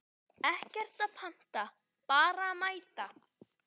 Ekkert að panta, bara mæta!